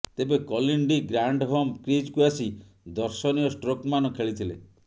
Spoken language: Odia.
ତେବେ କଲିନ୍ ଡି ଗ୍ରାଣ୍ଡହୋମ୍ କ୍ରିଜ୍କୁ ଆସି ଦର୍ଶନୀୟ ଷ୍ଟ୍ରୋକ୍ମାନ ଖେଳିଥିଲେ